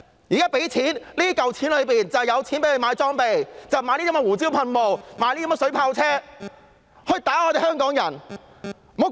這項臨時撥款包括警方購買裝備的款項，讓他們買胡椒噴霧、水炮車來攻擊香港人。